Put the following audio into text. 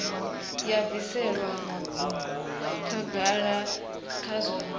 ya bvisela khagala kha zwa